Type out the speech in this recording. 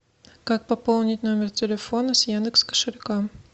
как пополнить номер телефона с яндекс кошелька